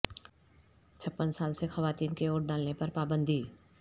چھپن سال سے خواتین کے ووٹ ڈالنے پر پابندی